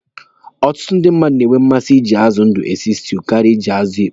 Ọtụtụ ndi na-enwe mmasị iji azụ ndụ esi stuu karịa iji azụ ịkpọ.